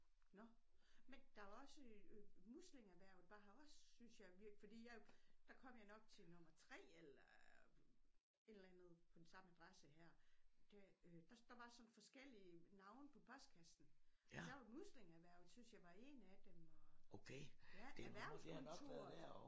Nåh men der er også øh muslingerhvervet var her også synes jeg fordi jeg der kom jeg nok til nummer 3 eller et eller andet på den samme adresse her øh der var sådan forskellige navne på postkassen der var muslingeerhvervet synes jeg var én af dem og ja erhvervskontoret